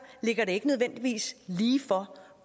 ligger det ikke nødvendigvis lige for